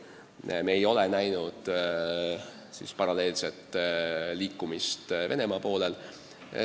Paraku me ei ole näinud paralleelset liikumist Venemaa poolel.